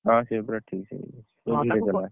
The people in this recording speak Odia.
ହଁ ସେ ପୁରା ଠିକ ସେ ଶିଖିଛି ପୁରା ଧୀରେ ଚଳାଏ